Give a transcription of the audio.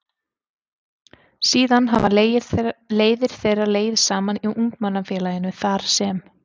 Síðan hafa leiðir þeirra legið saman í Ungmennafélaginu þar sem